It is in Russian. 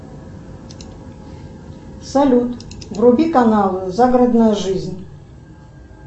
салют вруби канал загородная жизнь